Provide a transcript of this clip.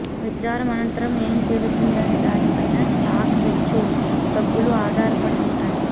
విచారణ అనంతరం ఏం తేలుతుందనే దానిపై స్టాక్ హెచ్చు తగ్గులు ఆధారపడి ఉంటాయి